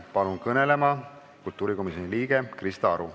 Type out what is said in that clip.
Palun kõnelema kultuurikomisjoni liikme Krista Aru.